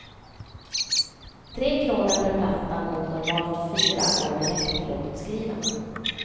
Tre kronor per platta mot normalt fyra går direkt till låtskrivarna.